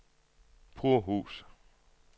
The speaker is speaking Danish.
Purhus